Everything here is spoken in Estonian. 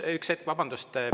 Üks hetk, vabandust!